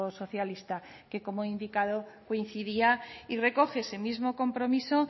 socialista que como he indicado coincidía y recoge ese mismo compromiso